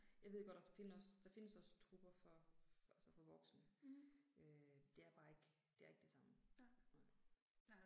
Jeg ved godt også, der finde også, der findes også trupper for altså for voksne øh. Det er bare ikke, det er ikke det samme. Nej